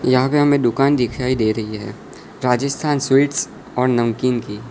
यहां पे हमें दुकान दिखाई दे रही है राजस्थान स्वीट्स और नमकीन की।